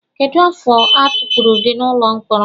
Kedu afọ atukpuru gị n'ụlọ mkpọrọ?